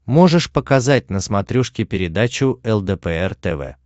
можешь показать на смотрешке передачу лдпр тв